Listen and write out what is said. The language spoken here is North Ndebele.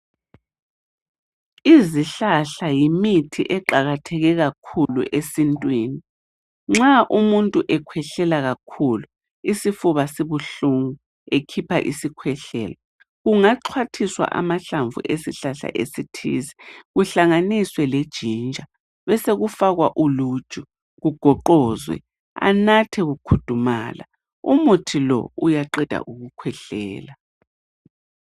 Izihlahla yimithi eqakatheke kakhulu esintwini nxa umuntu ekhwehlela kakhulu isifuba sibuhlungu ekhipha isikhwehlela kungaxhwathiswa amahlamvu esihlahla esithize kuhlanganiswe le jinja besekufakwa uluju kugoqozwe anatha kukhudumala umuthi lo uyaqeda ukukhwehlela .